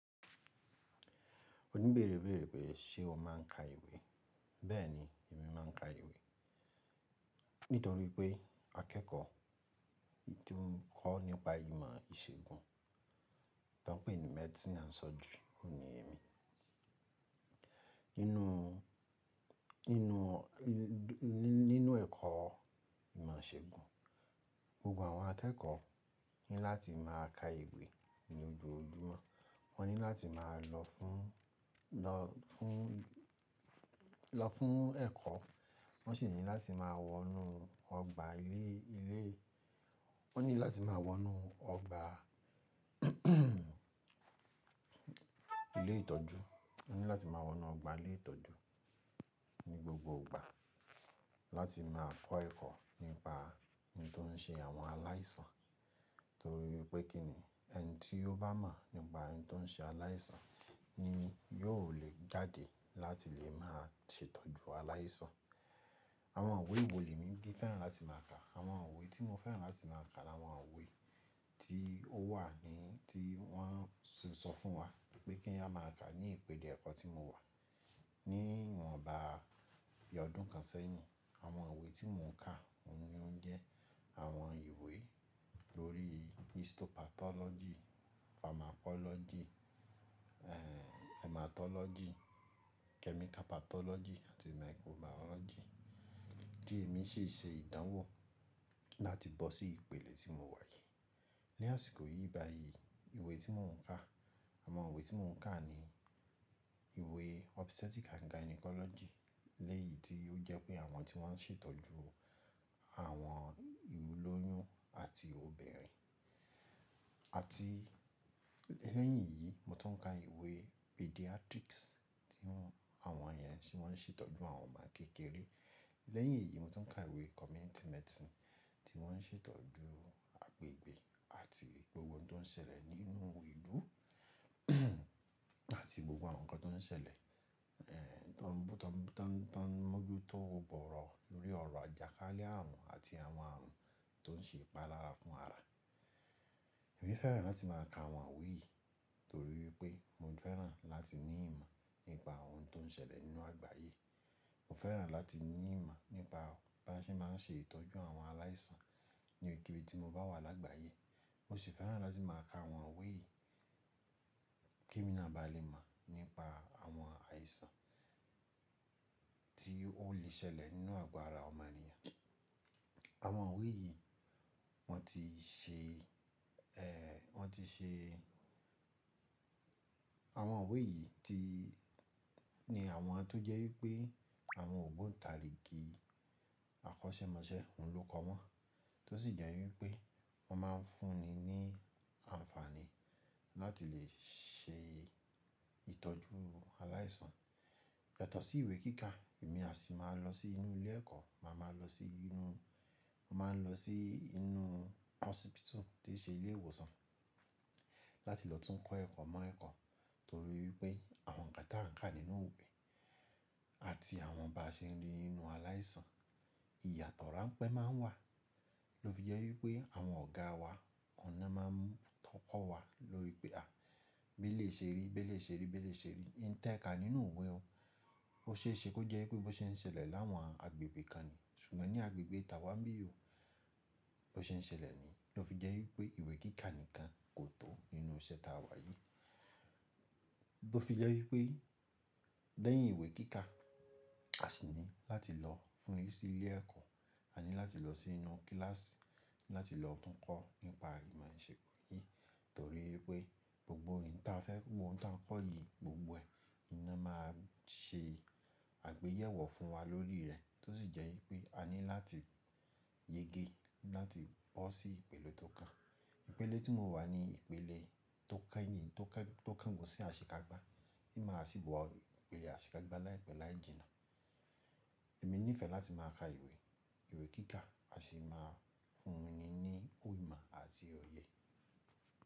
O ní bẹ́ẹ̀rẹ̀ ibẹ́ẹ̀rẹ̀ pé ṣe ọ máa ń ka ìwé? Bẹ́ẹ̀ni, èmi máa ń ka ìwé nítorí pé akẹ́kọ̀ọ́ tó ń kọ́ nípa ìmọ̀ ìṣègùn ton pè ní medicine and surgery òun ni èmi. Nínú, nínú, ní, ní, nínú ẹ̀kọ́ ìmọ̀ ìṣègùn, gbogbo àwọn akẹ́kọ̀ọ́ ní láti máa ka ìwé ní ojoojúmọ́. Wọ́n ní láti máa lọ fún, lọ fún, lọ fún ẹ̀kọ́. Wọ́n sì ní láti máa wọ inú ọgbà ilé, ilé-- wọ́n ní láti máa wọ inú ọgbà ilé ìtọ́jú. Wọ́n ní láti máa wọ inú ọgbà ilé ìtọ́jú ní gbogbo ìgbà láti máa kọ́ ẹ̀kọ́ nípa n tó ń ṣe àwọn aláìsàn. Tori wipé kíní, ẹni tí o bá mọ̀ nípa n tó ń ṣe aláìsàn ni yóò lè jáde láti lè máa ṣètọ́jú aláìsàn. Àwọn ìwé wo le mi kí n fẹ́ràn láti máa ka. Àwọn ìwé tí mo fẹ́ràn láti máa ka làwọn ìwé tí ó wà ní, tí wọ́n sọ fún wa pé kí á máa ka ní ìpele ẹ̀kọ́ tí mo wà. Ní ìwọ̀nba ọdún kan sẹ́yìn, àwọn ìwé tí mò ń ka òun ni ó ń jẹ́ àwọn ìwé lórí histopathology, pharmacology, eh, haematology, chemical pathology àti microbiology tí èmi ṣi ṣe ìdánwò láti bọ́ sí ìpele tí mo wà yìí. Ni àsìkò yìí báyìí ìwé tí mò ń ka, àwọn ìwé tí mò ń ka ni ìwé obstetric and gynecology. Lẹ́yì tí ó jẹ́ pé àwọn tí wọ́n ṣètọ́jú àwọn ìwúlòyún àti obìnrin. Àti lẹ́yìn yìí mo tún ń ka ìwé pediatrics tí wọ́n, àwọn yẹn ti wọ́n ṣètọ́jú àwọn ọmọ kékeré. Lẹ́yìn èyí mo tún ń ka ìwé community medicine tí wọ́n ṣètọ́jú agbègbè àti gbogbo ohun tó ń ṣẹlẹ̀ nínú ìlú àti gbogbo àwọn nǹkan tó ń ṣẹlẹ̀, eh, tó ń bú tán, to n moju to, tó ń moju to igbọ̀rọ̀ lórí ọ̀rọ̀ àjàkálẹ̀ àrùn àti àwọn àrùn tó ń ṣe ìpalára fún ara. Èmi fẹ́ràn láti máa ka àwọn ìwé yìí torí wípé mo fẹ́ràn láti ní ìmọ̀ nípa ohun tó ń ṣẹlẹ̀ nínú àgbáyé. Mo fẹ́ràn láti ní ìmọ̀ nípa bí a ṣe máa ń ṣe ìtọ́jú àwọn aláìsàn ní òkèèrè tí mo bá wà lágbàáyé. Mo sì fẹ́ràn láti máa ka àwọn ìwé yìí kí emi náà ba lè mọ̀ nípa àwọn aìsàn tí ó lè ṣẹlẹ̀ nínú àgọ́ ara ọmọnìyàn. Àwọn ìwé yìí wọ́n ti ṣe, eh, wọ́n ti ṣe-- àwọn ìwé yìí ti, ni àwọn tó jẹ́ wípé àwọn ògbóntarigì àkọ́ṣẹ́mọṣẹ́ ń lóko wọ́n tó sì jẹ́ wípé wọ́n máa ń fún ni ní àǹfààní láti lè ṣe ìtọ́jú aláìsàn. Yàtọ̀ sí ìwé kíkà, èmi à sì máa lọ sí inú ilé ẹ̀kọ́, màá ma lọ sí inú, mo maa n lọ sí inú hospital ti i ṣe ilé ìwòsàn láti lọ tún kọ́ ẹ̀kọ́ mọ́ ẹ̀kọ́. Torí wípé àwọn nǹkan tí a ń kà nínú ìwé àti àwọn bá ṣe ń rí nínú aláìsàn, ìyàtọ̀ ránpẹ́ máa ń wà ló fi jẹ́ wípé àwọn ọ̀gá wa ọ̀nà máa ń tọ́pọ̀ wa lórí pé, "à, bí elèyi ṣe rí, bí eleyi ṣe rí, bí eleyi ṣe rí, n ti e ka nínú ìwé ò. Ó ṣe é ṣe kó jẹ́ wípé bó ṣe ń ṣẹlẹ̀ láwọn agbègbè kan ni ṣùgbọ́n ní agbègbè tàwà n bi o bó ṣe ń ṣẹlẹ̀ ni" ló fi jẹ́ wípé ìwé kíkà nìkan kò tó nínú iṣẹ́ táa wà yìí. Lo fi jẹ́ wípé lẹ́yìn ìwé kíkà, a sì ní láti lọ fún, sí ilé ẹ̀kọ́, a ní láti lọ sí inú kíláàsì láti lọ tún kọ́ nípa ìmọ̀ ìṣègùn yìí torí wípé gbogbo ohun tí a fẹ́, gbogbo ohun tí à kọ́ yìí gbogbo ẹ̀ ní náà máa ṣe àgbéyẹ̀wò fún wa lórí rẹ̀ tó sì jẹ́ wípé a ní láti yége láti bọ́ sí ìpele tó kàn. Ìpele tí mo wà ni ìpele tó kẹ́yìn, tó kan, tó kàn gun sí àṣekágbá. Ti màa sì bó wọ ìpele àṣekágbá láìpẹ́ láì jìnnà. Èmi ní ìfẹ́ láti máa ka ìwé, ìwé kíkà, a sì máa fún mi ní imọ̀ àti òye.